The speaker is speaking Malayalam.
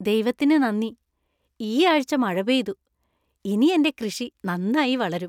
ദൈവത്തിന് നന്ദി, ഈ ആഴ്ച മഴ പെയ്തു. ഇനി എന്‍റെ കൃഷി നന്നായി വളരും.